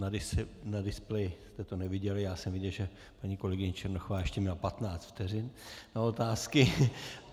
Na displeji jste to neviděli, já jsem viděl, že paní kolegyně Černochová ještě měla 15 vteřin na otázky.